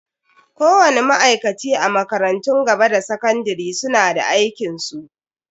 Kowani ma'aikaci a makarantun gaba da sakandare suna da aikinsu.